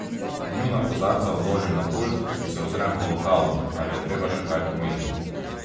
Njuna kozarca odložim na pult in se ozrem po lokalu, ali je treba še kaj pomiti.